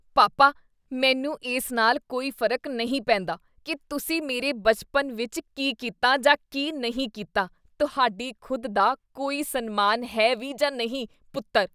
ਪਾਪਾ, ਮੈਨੂੰ ਇਸ ਨਾਲ ਕੋਈ ਫ਼ਰਕ ਨਹੀਂ ਪੈਂਦਾ ਕੀ ਤੁਸੀਂ ਮੇਰੇ ਬਚਪਨ ਵਿੱਚ ਕੀ ਕੀਤਾ ਜਾਂ ਕੀ ਨਹੀਂ ਕੀਤਾ ਤੁਹਾਡੀ ਖੁਦ ਦਾ ਕੋਈ ਸਨਮਾਨ ਹੈ ਵੀ ਜਾਂ ਨਹੀਂ! ਪੁੱਤਰ